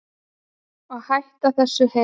Og hætt þessu hel